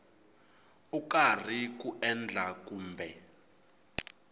u karhi ku endla kumbe